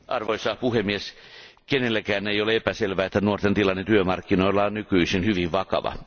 Arvoisa puhemies, kenellekään ei ole epäselvää, että nuorten tilanne työmarkkinoilla on nykyisin hyvin vakava.